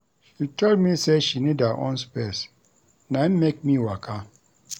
She tell me sey she need her own space na im make me waka.